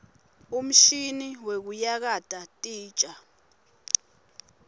umshini wekuyakata titja